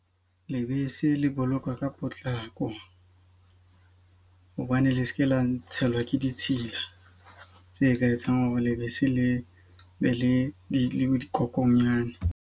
Lebese le bolokwa ka potlako hobane le seke la ntshela ke ditshila tse ka etsang hore lebese le be le di dikokonyane.